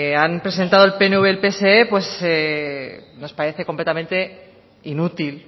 han presentado el pnv y el pse pues nos parece completamente inútil